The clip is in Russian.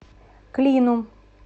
клину